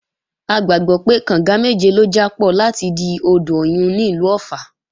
A gbàgbọ́ pé, kànga méje ló jápọ̀ láti di odò Ọ̀yun ní ìlú Ọ̀ffà